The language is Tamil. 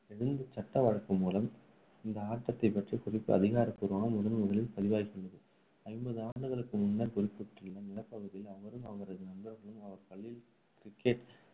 எழுந்த சட்ட வழக்கு மூலம் இந்த ஆட்டத்தை பற்றிய குறிப்பு அதிகாரப்பூர்வமாக முதல் முதலில் பதிவாகி உள்ளது. ஐம்பது ஆண்டுகளுக்கு முன்னர், குறிப்பிடப்பட்டுள்ள நிலப்பகுதியில் அவரும் அவரது நண்பர்களும், அவர் பள்ளியில் cricket